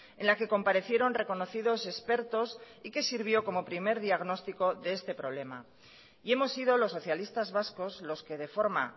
en la que comparecieron reconocidos expertos y que sirvió como primer diagnóstico de este problema y hemos sido los socialistas vascos los que de forma